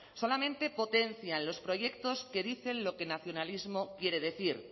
solamente potencian los proyectos que dicen lo que el nacionalismo quiere decir